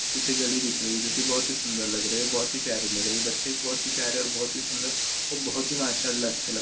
पीछे गली दिख रही है जोकि बहुत ही सुंदर लगरी है बहुत ही प्यारी लगरी है बच्चे भी बहुत ही प्यारे और बहुत ही सुंदर और बहुत ही माशाअल्लाह अच्छे --